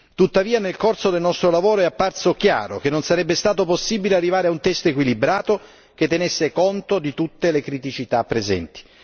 Tuttavia, nel corso del nostro lavoro è apparso chiaro che non sarebbe stato possibile arrivare a un testo equilibrato, che tenesse conto di tutte le criticità presenti.